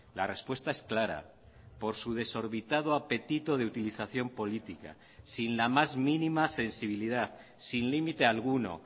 la respuesta es clara por su desorbitado apetito de utilización política sin la más mínima sensibilidad sin límite alguno